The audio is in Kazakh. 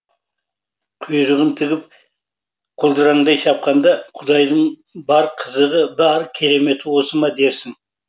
құйрығын тігіп құлдыраңдай шапқанда құдайдың бар қызығы бар кереметі осы ма дерсің